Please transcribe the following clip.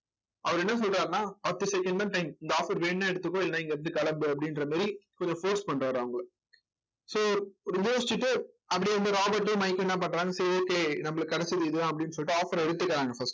அவர் என்ன சொல்றாருன்னா பத்து second தான் time இந்த offer வேணும்ன்னா எடுத்துக்கோ இல்லை இங்கே இருந்து கிளம்பு அப்படின்ற மாதிரி கொஞ்சம் force பண்றாரு அவங்கள so யோசிச்சுட்டு அப்பிடியே ராபர்டும் மைக்கும் என்ன பண்றாங்க சரி சரி நம்மளுக்கு கிடைச்சது இதுதான் அப்பிடின்னு சொல்லிட்டு offer ஆ எடுத்துக்கறாங்க first